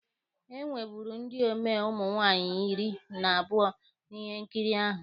E nweburu ndi omee ụmụ nwaanyị iri na abụọ na ihe nkiri ahụ